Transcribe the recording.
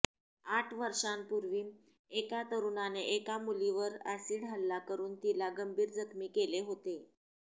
आठ वर्षापूर्वी एका तरुणाने एका मुलीवर अॅसिड हल्ला करून तिला गंभीर जखमी केले होते